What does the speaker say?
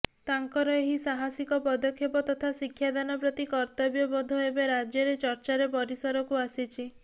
ତାଙ୍କର ଏହି ସାହସିକ ପଦକ୍ଷେପ ତଥା ଶିକ୍ଷାଦାନ ପ୍ରତି କର୍ତ୍ତବ୍ୟବୋଧ ଏବେ ରାଜ୍ୟରେ ଚର୍ଚ୍ଚାର ପରିସରକୁ ଆସିଛି